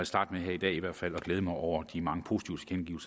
starte med her i dag i hvert fald at glæde mig over de mange positive